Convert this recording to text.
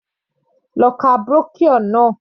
Lọ ka brochure náà.